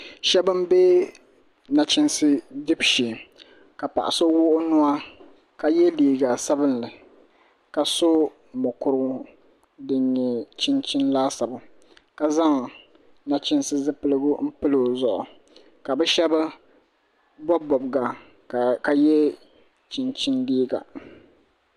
Shab n bɛ nachiinsi dibu shee ka paɣa so wuɣi o nuwa ka yɛ liiga sabinli ka so mokuru din nyɛ chinchin laasabu ka zaŋ nachiinsi zipiligu n pili o zuɣu ka bi shab bob bobga ka yɛ chinchin liiga